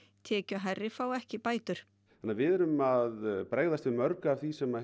tekjuhærri fá ekki bætur þannig að við erum að bregðast við mörgu af því sem